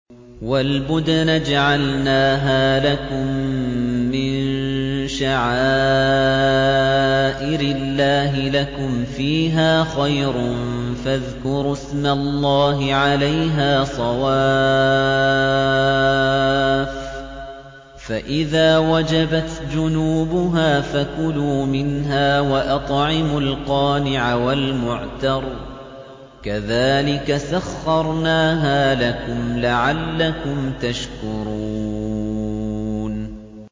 وَالْبُدْنَ جَعَلْنَاهَا لَكُم مِّن شَعَائِرِ اللَّهِ لَكُمْ فِيهَا خَيْرٌ ۖ فَاذْكُرُوا اسْمَ اللَّهِ عَلَيْهَا صَوَافَّ ۖ فَإِذَا وَجَبَتْ جُنُوبُهَا فَكُلُوا مِنْهَا وَأَطْعِمُوا الْقَانِعَ وَالْمُعْتَرَّ ۚ كَذَٰلِكَ سَخَّرْنَاهَا لَكُمْ لَعَلَّكُمْ تَشْكُرُونَ